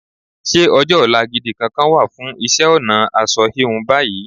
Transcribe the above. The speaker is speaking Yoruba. Ṣé ọjọ́-ọ̀la gidi kankan wà fún isẹ́-ọ̀nà asọ híun báyìí?